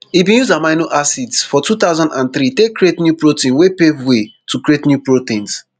e bin use amino acids for two thousand and three take create new protein wey pave way to create new proteins